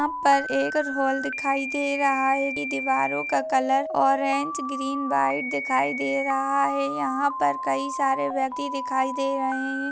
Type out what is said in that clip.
यहा पर एक हॉल दिखाई दे रहा है की दीवारों का कलर ऑरेंज ग्रीन व्हाइट दिखाई दे रहा है यहा पर कई सारे व्यक्ति दिखाई दे रहे है।